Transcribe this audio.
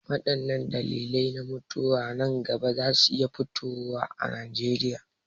Waɗanne dalilai na mutuwa nan gaba za su iya fitowa a Najeriya?